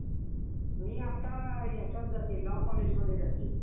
ते काय ना त्याच तसलं एक एक विषय येत्यात मर्दा, त्याचं काय काम नसतंय, तसले बी लावत्यात विषय.